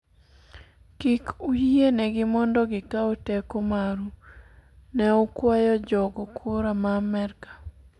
kik uyie negi mondo gikaw teko maru, ne okwayo jogo kura ma Amerka